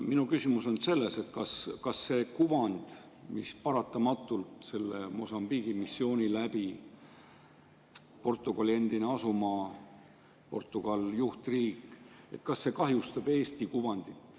Minu küsimus on selles, et kas selle Mosambiigi missiooni tõttu – Portugali endine asumaa, Portugal juhtriik –, võib kahjustuda Eesti kuvand.